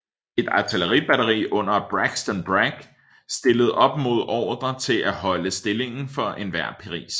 Et artilleri batteri under Braxton Bragg stillede op med ordre til at holde stillingen for enhver pris